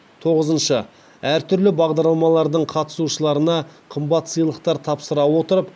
тоғызыншы әртүрлі бағдарламалардың қатысушыларына қымбат сыйлықтар тапсыра отырып